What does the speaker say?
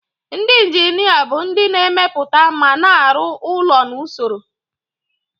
Ndị injinia bụ ndị na-emepụta ma na-arụ ụlọ na usoro.